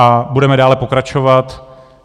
A budeme dále pokračovat.